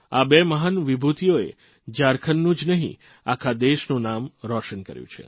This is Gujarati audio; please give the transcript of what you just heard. આ બે મહાન વિભૂતિઓએ ઝારખંડનું જ નહિં આખા દેશનું નામ રોશન કર્યું છે